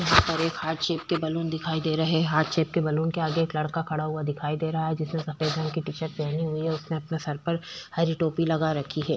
यहाँ पर एक हार्ट शेप के बैलून दिखाई दे रहे है हार्ट शेप बैलून के आगे एक लड़का खड़ा हुआ दिखाई दे रहा है जिसने सफ़ेद रंग की टी शर्ट पहनी हुई है और उसने अपने सर पर हरी टोपी लगा रखी है।